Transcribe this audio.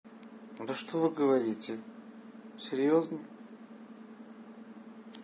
да что вы говорите серьёзно